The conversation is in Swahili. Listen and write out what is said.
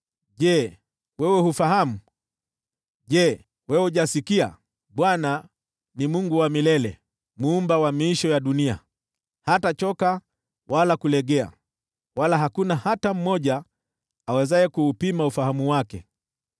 Je wewe, hufahamu? Je wewe, hujasikia? Bwana ni Mungu wa milele, Muumba wa miisho ya dunia. Hatachoka wala kulegea, wala hakuna hata mmoja awezaye kuupima ufahamu wake.